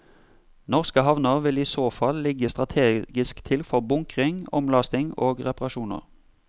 Norske havner vil i så fall ligge strategisk til for bunkring, omlasting og reparasjoner.